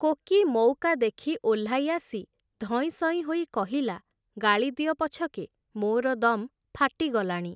Koki ମଉକା ଦେଖି ଓହ୍ଲାଇଆସି, ଧଇଁସଇଁ ହୋଇ କହିଲା, ଗାଳିଦିଅ ପଛକେ, ମୋର ଦମ୍ ଫାଟିଗଲାଣି ।